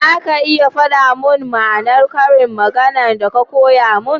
za ka iya fada mun ma'anar ƙarin magana da ka koya mun?